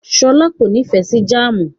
Ṣọlá kò nífẹ̀ẹ́ sí jáámù.